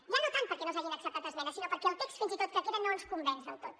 ja no tant perquè no s’hagin acceptat esmenes sinó perquè el text fins i tot que queda no ens convenç del tot